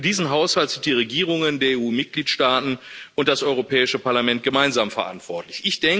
Denn für diesen Haushalt sind die Regierungen der EU Mitgliedstaaten und das Europäische Parlament gemeinsam verantwortlich.